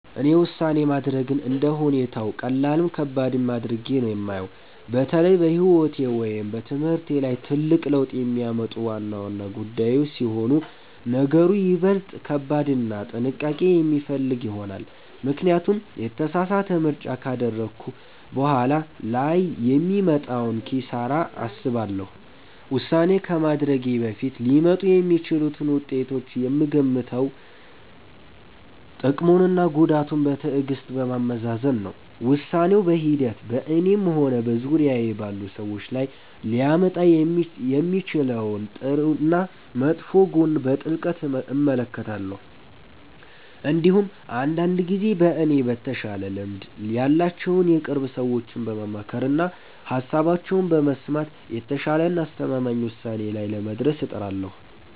እኔ ውሳኔ ማድረግን እንደ ሁኔታው ቀላልም ከባድም አድርጌ ነው የማየው። በተለይ በሕይወቴ ወይም በትምህርቴ ላይ ትልቅ ለውጥ የሚያመጡ ዋና ዋና ጉዳዮች ሲሆኑ ነገሩ ይበልጥ ከባድና ጥንቃቄ የሚፈልግ ይሆናል፤ ምክንያቱም የተሳሳተ ምርጫ ካደረግኩ በኋላ ላይ የሚመጣውን ኪሳራ አስባለሁ። ውሳኔ ከማድረጌ በፊት ሊመጡ የሚችሉትን ውጤቶች የምገመግመው ጥቅሙንና ጉዳቱን በትዕግሥት በማመዛዘን ነው። ውሳኔው በሂደት በእኔም ሆነ በዙሪያዬ ባሉ ሰዎች ላይ ሊያመጣ የሚችለውን ጥሩና መጥፎ ጎን በጥልቀት እመለከታለሁ። እንዲሁም አንዳንድ ጊዜ ከእኔ በተሻለ ልምድ ያላቸውን የቅርብ ሰዎቼን በማማከርና ሃሳባቸውን በመስማት የተሻለና አስተማማኝ ውሳኔ ላይ ለመድረስ እጥራለሁ።